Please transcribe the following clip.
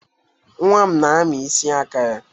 Nwa m na-ami isi aka ya.